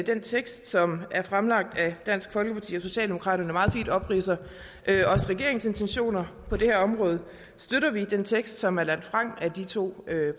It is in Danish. den tekst som er fremlagt af dansk folkeparti og socialdemokraterne meget fint også opridser regeringens intentioner på det her område støtter vi den tekst som er lagt frem af de to